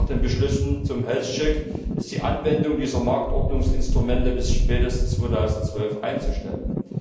Aber nach den Beschlüssen zum health check ist die Anwendung dieser Marktordnungsinstrumente bis spätestens 2012 einzustellen.